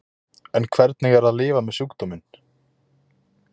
En hvernig er að lifa með sjúkdóminn?